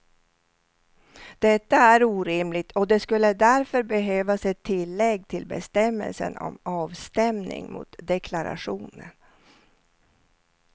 Detta är orimligt och det skulle därför behövas ett tillägg till bestämmelsen om avstämning mot deklarationen.